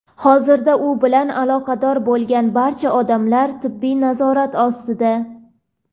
Hozirda u bilan aloqada bo‘lgan barcha odamlar tibbiy nazorat ostida.